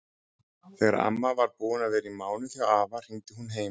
Þegar amma var búin að vera í mánuð hjá afa hringdi hún heim.